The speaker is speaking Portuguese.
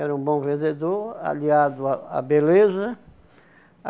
Era um bom vendedor, aliado à à beleza.